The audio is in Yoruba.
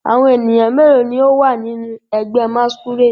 Awọn eniyan melo ni o wa ninu ẹgbẹ masquerade?